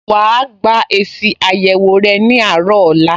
Wà á gba èsì àyẹ̀wò rẹ ní àárọ̀ ọ̀la